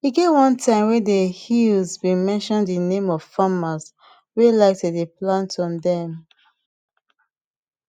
e get one time wey dey hill been mention de name of farmers wey like to dey plant on dem